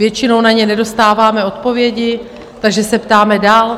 Většinou na ně nedostáváme odpovědi, takže se ptáme dál.